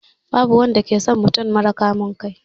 Babu wanda ke son mutum mara kamun kai.